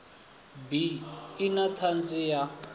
bi i na tshadzhi ya